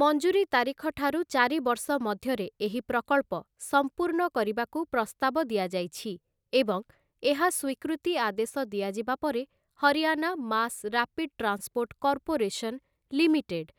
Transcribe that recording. ମଞ୍ଜୁରୀ ତାରିଖ ଠାରୁ ଚାରି ବର୍ଷ ମଧ୍ୟରେ ଏହି ପ୍ରକଳ୍ପ ସମ୍ପୂର୍ଣ୍ଣ କରିବାକୁ ପ୍ରସ୍ତାବ ଦିଆଯାଇଛି ଏବଂ ଏହା ସ୍ୱୀକୃତି ଆଦେଶ ଦିଆଯିବା ପରେ Haryana mass rapid transport corporation limited